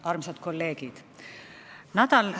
Armsad kolleegid!